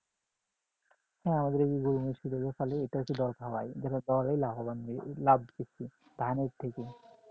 হ্যাঁ আমাদের দিকে গরু-মহিষে গুলো পালে এইগুলো দল খাওয়ায় খাওয়ালে লাভবান হয় লাভবান ধানের থেকে